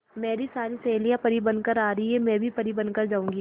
मेरी सारी सहेलियां परी बनकर आ रही है मैं भी परी बन कर जाऊंगी